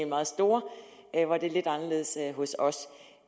meget store det er lidt anderledes hos os